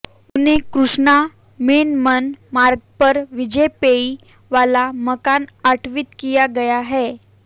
उन्हें कृष्णा मेनन मार्ग पर वाजपेयी वाला मकान आवंटित किया गया है